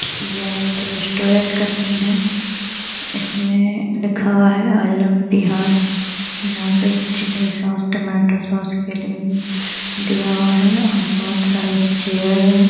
यह एक रेस्टुरेंट का सिन है इसमें लिखा हुआ है आई लव बिहार यहाँ पे चिल्ली सॉस टोमेटो सॉस के लिए भी दिया हुआ है और बहोत सारे चेयर है।